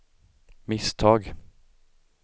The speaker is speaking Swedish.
misstag